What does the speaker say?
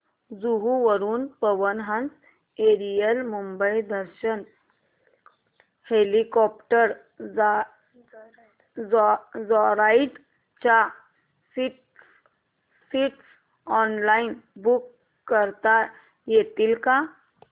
जुहू वरून Pawan Hans aerial Mumbai Darshan helicopter joyride च्या seats online book करता येतील का